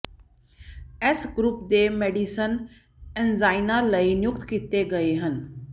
ਇਸ ਗਰੁੱਪ ਦੇ medicine angina ਲਈ ਨਿਯੁਕਤ ਕੀਤੇ ਗਏ ਹਨ